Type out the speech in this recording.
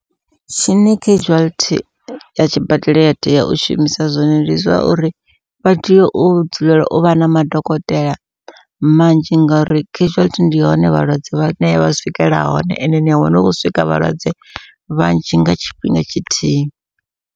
Tshine casualty ya tshibadela ya tea u shumisa zwone, ndi zwa uri vha tea u dzulela u vha na madokotela manzhi ngauri casualty ndi hone vhalwadze vha swikela hone ende nia wana hu khou swika vhalwadze vhanzhi nga tshifhinga tshithihi.